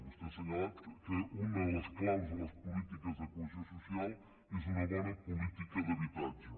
vostè ha assenyalat que una de les clàusules polítiques de cohesió social és una bona política d’habitatge